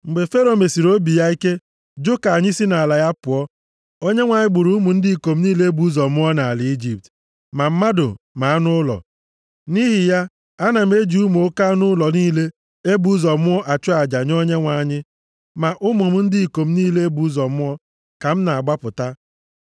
Mgbe Fero mesiri obi ya ike, jụ ka anyị si nʼala ya pụọ, Onyenwe anyị gburu ụmụ ndị ikom niile e bụ ụzọ mụọ nʼala Ijipt, ma mmadụ ma anụ ụlọ. Nʼihi ya, ana m eji ụmụ oke anụ ụlọ niile e bụ ụzọ mụọ achụ aja nye Onyenwe anyị. Ma ụmụ m ndị ikom niile e bụ ụzọ mụọ ka m na-agbapụta.’